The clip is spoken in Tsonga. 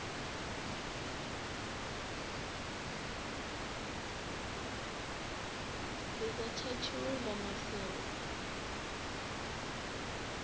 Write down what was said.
hit chachula maseve